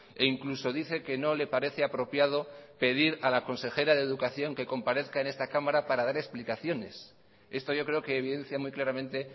e incluso dice que no le parece apropiado pedir a la consejera de educación que comparezca en esta cámara para dar explicaciones esto yo creo que evidencia muy claramente